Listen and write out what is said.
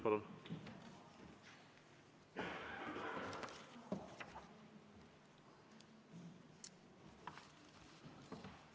Palun!